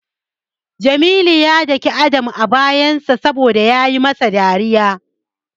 Jamilu ya dake Adam a bayansa saboda yayi masa dariya.